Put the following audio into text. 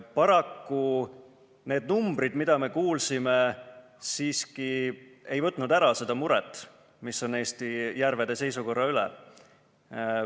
Paraku need numbrid, mida me kuulsime, ei võtnud siiski ära seda muret, mis on tekkinud Eesti järvede seisukorra pärast.